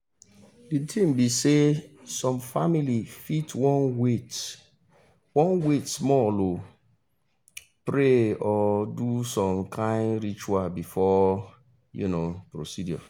the thing be saysome family fit wan wait wan wait small um pray or do som kin ritual before um procedure